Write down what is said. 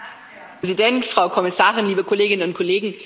Herr Präsident, Frau Kommissarin, liebe Kolleginnen und Kollegen!